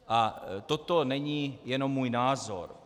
A toto není jenom můj názor.